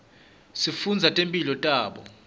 sifundza ngetimphilo tabo